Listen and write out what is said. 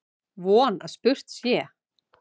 Von að spurt sé.